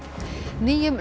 nýjum